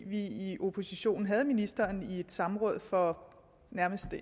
vi i oppositionen havde ministeren i et samråd for